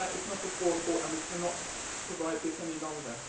That is not affordable, and we cannot provide this any longer.